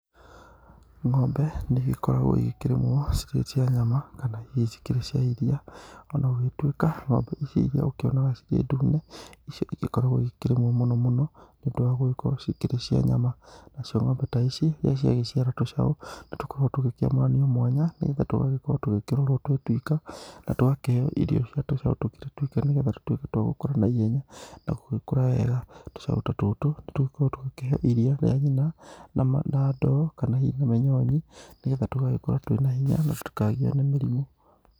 Ng'ombe nĩ ĩgĩkoragwo ĩgĩkĩrĩmwo cĩkĩrĩe cĩa nyama kana hĩhĩ cĩkĩrĩe cĩa ĩrĩa. Onagũgĩtũĩka Ng;ombe ĩrĩa ũgĩkĩonaga ĩgĩkĩrĩ ndũne, ĩcĩo ĩgĩkoragwo ĩkĩrĩmwo mũno mũno nĩũndũ wangũgĩkoragwo cĩgĩkĩrĩe cĩa nyama. Na cĩo ng'ombe ta ĩcĩ rĩrĩa cĩagĩgĩcĩra tũcao, nĩtũkoragwo tũkĩamũranĩo mwanya. Nĩgetha tũgagĩkorwo tũgĩkĩrorwo twĩwĩka, na tũkaheo ĩrĩo cĩa tũcao tũrĩtwĩka nĩgetha tũtwĩke tũgũgĩkora nĩhenya na gũgĩkora wega. Tũcaũ tatũtũ nĩtũgĩkoragwo tũkĩheo ĩrĩa rĩa nyĩna, na ndoo kana hĩhĩ mũnyonyĩ nĩgetha tũgagĩkora twĩ na hĩnya tũtĩkagĩo nĩ mĩrĩmũ.